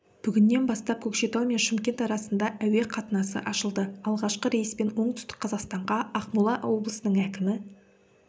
бүгіннен бастап көкшетау мен шымкент арасында әуе қатынасы ашылды алғашқы рейспен оңтүстік қазақстанғаа ақмола облысының әкімі